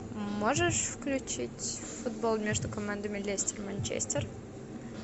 можешь включить футбол между командами лестер манчестер